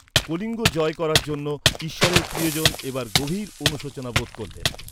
কলিঙ্গ জয় করার জন্য ঈশ্বরের প্রিয়জন এবার গভীর অনুশোচনা বোধ করলেন।